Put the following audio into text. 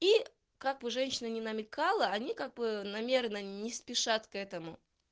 и как бы женщина не намекала они как бы намеренно не спешат к этому